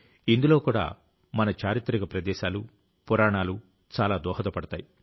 ఇందులో కూడా మన చారిత్రక ప్రదేశాలు పురాణాలు చాలా దోహదపడతాయి